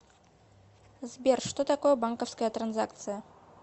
сбер что такое банковская транзакция